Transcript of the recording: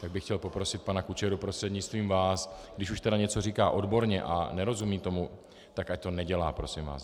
Tak bych chtěl poprosit pana Kučeru prostřednictvím vás, když už tedy něco říká odborně a nerozumí tomu, tak ať to nedělá, prosím vás.